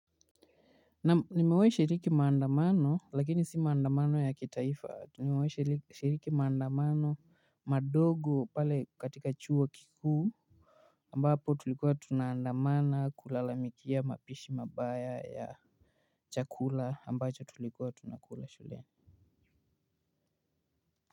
Naam nimewahi shiriki maandamano lakini si maandamano ya kitaifa nimewahi shiriki maandamano madogo pale katika chuo kikuu ambapo tulikuwa tunaandamana kulalamikia mapishi mabaya ya chakula ambacho tulikuwa tunakula shuleni.